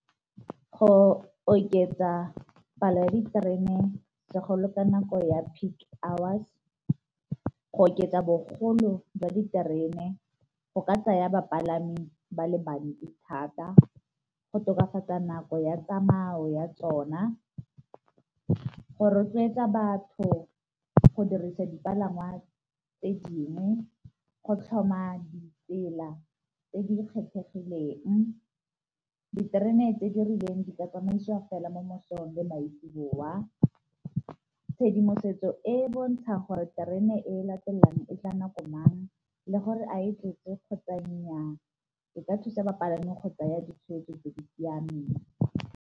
Go oketsa palo ya diterene bagolo ka nako ya peak hours, go oketsa bogolo jwa diterene go ka tsaya bapalami ba le bantsi thata, go tokafatsa nako ya tsamao ya tsona, go rotloetsa batho go dirisa dipalangwa tse dingwe, go tlhoma ditsela tse di kgethegileng, diterene tse di rileng di ka tsamaisiwa fela mo mosong le maitsiboa, tshedimosetso e bontsha gore terene e latelang e tla nako mang le gore a e tletse kgotsa nnyaa e ka thusa bapalami kgotsa ya ditshwetso tse di siameng.